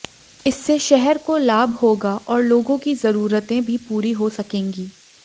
इससे शहर को लाभ होगा और लोगों की जरूरतें भी पूरी हो सकेंगी